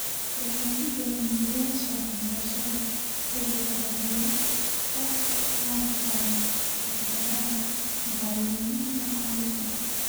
Horumarinta hindisayaasha waxbarashada gobolka waxay wax ka qaban kartaa caqabadaha maxalliga ah.